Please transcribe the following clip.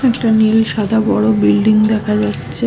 একটা নীল সাদা বড় বিল্ডিং দেখা যাচ্ছে-এ।